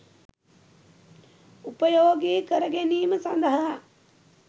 උපයෝගී කරගැනීම සඳහා